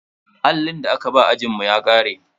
Allin da aka ba ajinmu ya ƙare.